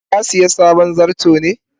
ka siya sabon zarto ne?